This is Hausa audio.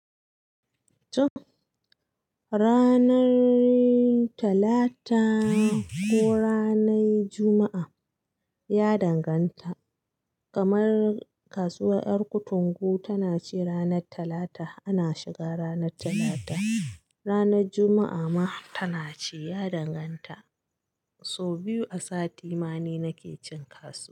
Tun ranar talata ko ranar juma'a, ya danganta. Kamar kasuwar yar kutungu tana ci ranar talata, ana shiga ranar talata. Ranar juma'a ma tana ci, ya danganta. So biyu a sati ma ni nake cin kasuwa.